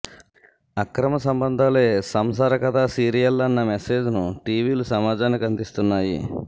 అక్రమ సంబంధాలే సంసార కథా సీరియళ్ళన్న మెసేజ్ను టివిలు సమాజానికి అందిస్తున్నాయి